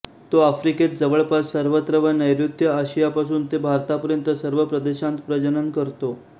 तो आफ्रिकेत जवळपास सर्वत्र व नैर्ऋत्य आशियापासून ते भारतापर्यंत सर्व प्रदेशांत प्रजनन करतो